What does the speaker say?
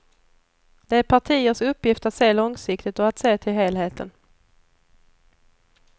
Det är partiers uppgift att se långsiktigt och att se till helheten.